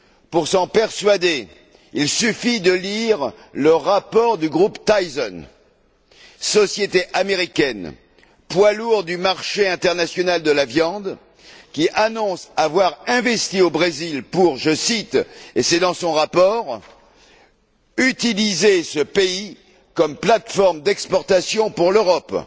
Pour s'en persuader, il suffit de lire le rapport du groupe Tyson, société américaine, poids lourd du marché international de la viande, qui annonce avoir investi au Brésil pour je cite, et c'est dans son rapport utiliser ce pays comme plate forme d'exportation pour l'Europe.